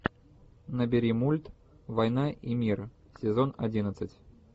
набери мульт война и мир сезон одиннадцать